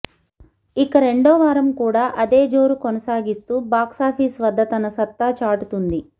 ఇక రెండో వారం కూడా అదే జోరు కొనసాగిస్తూ బాక్సాఫీస్ వద్ద తన సత్తా చాటుతుంది